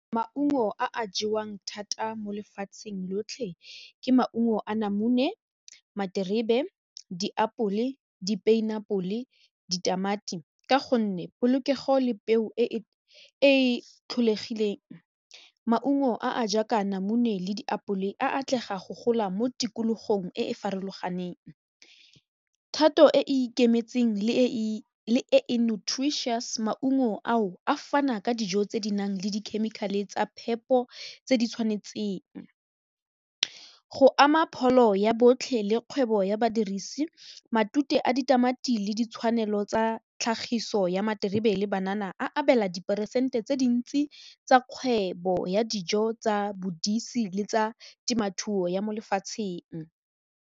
Maungo a a jewang thata mo lefatsheng lotlhe ke maungo a namune, materebe, di-pineapple, ditamati ka gonne polokego le peo e e tlholegileng maungo a a jaaka namune le diapole a atlega go gola mo tikologong e e farologaneng thato e e ikemetseng le e notary chess maungo ao a fana ka dijo tse di nang le dikhemikhale tsa phepo tse di tshwanetseng, go ama pholo ya botlhe le kgwebo ya badirisi matute a ditamati le ditshwanelo tsa tlhagiso ya materebe le banana a abela diperesente tse dintsi tsa kgwebo ya dijo tsa bodise le tsa temothuo mo lefatsheng.